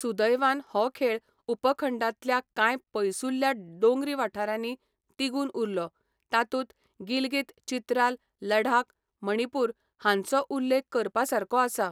सुदैवान हो खेळ उपखंडांतल्या कांय पयसुल्ल्या दोंगरी वाठारांनी तिगून उरलो, तातूंत गिलगित, चित्राल, लडाख, मणिपूर हांचो उल्लेख करपासारको आसा.